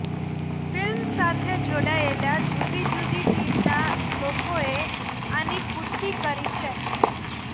film સાથે જોડાયેલ જુદી જુદી ટીમના લોકોએ આની પુષ્ટિ કરી છે